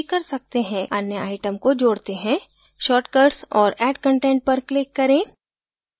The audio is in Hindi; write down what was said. अन्य item को जोड़ते हैं shortcuts और add content पर click करें